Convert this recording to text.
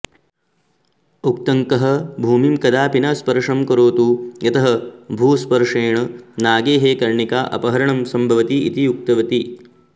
उत्तङ्कः भूमिं कदापि न स्पर्षं करोतु यतः भूस्पर्षेण नागैः कर्णिकाअपहरणं संभवति इति उक्तवती